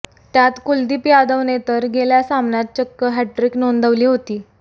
त्यात कुलदीप यादवने तर गेल्या सामन्यात चक्क हॅटट्रिक नोंदविली होती